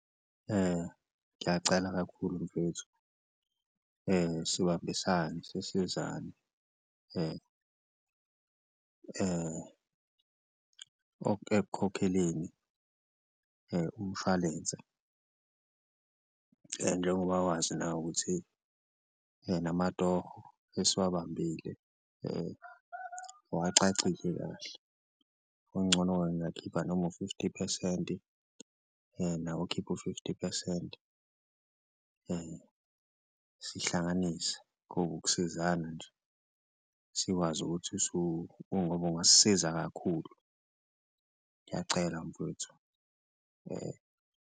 Ngiyacela kakhulu mfwethu sibambisane sisizane ekukhokheleni umshwalense njengoba wazi nawe ukuthi namatoho esiwabambile awacacile kahle, okungcono-ke ngingakhipha noma u-fifty phesenti nawe ukhiphe u-fifty phesenti sihlanganise ngoba ukusizana nje. Sikwazi ukuthi ngoba ungasiza kakhulu, ngiyacela mfwethu .